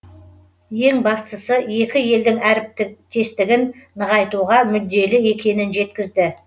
ең бастысы екі елдің әріптестігін нығайтуға мүдделі екенін жеткізді